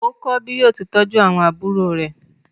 Ó kọ́ bí yóò ti tọ́jú àwọn àbúrò rẹ̀.